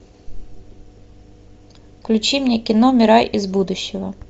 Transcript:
включи мне кино мирай из будущего